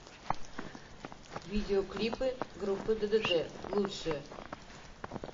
видеоклипы группы ддт лучшее